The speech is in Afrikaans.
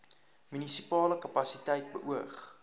munisipale kapasiteit beoog